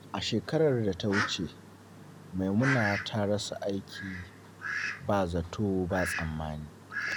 A shekarar da ta wuce, Maimuna ta rasa aiki ba zato ba tsammani.